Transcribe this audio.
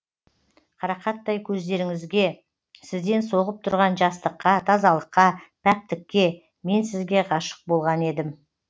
қарақаттай көздеріңізге сізден соғып тұрған жастыққа тазалыққа пәктікке мен сізге ғашық болған едім